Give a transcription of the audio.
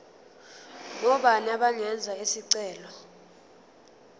ngobani abangenza isicelo